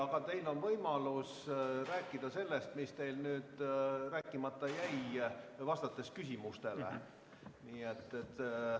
Aga teil on võimalus rääkida sellest, mis teil rääkimata jäi siis, kui vastate küsimustele.